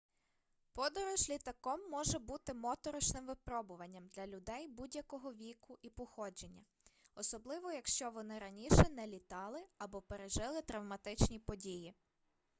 подорож літаком може бути моторошним випробуванням для людей будь-якого віку і походження особливо якщо вони раніше не літали або пережили травматичні події